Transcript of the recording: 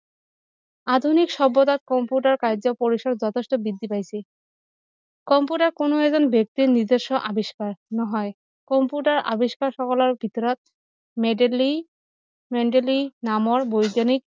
আধুনিক সভ্যতাৰ কম্পিউটাৰ কাৰ্য্য পৰিচিয় যথেষ্ট বৃদ্ধি পাইছে কম্পিউটাৰ কোনো এজন ব্যক্তিয়ে নিজস্ব আৱিষ্কাৰ নহয় কম্পিউটাৰ আৱিষ্কাৰ সকলৰ ভিতৰত মেডেলি মেডেলি নামৰ বৈজ্ঞানিক